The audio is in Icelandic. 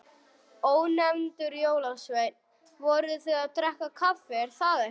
Ónefndur jólasveinn: Voruð þið að drekka kaffi, er það ekki?